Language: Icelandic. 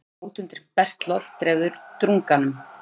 Að fara út undir bert loft dreifði drunganum.